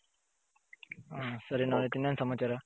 ಸರಿ ನವನಿತ್ ಇನೇನ್ ಸಮಾಚಾರ.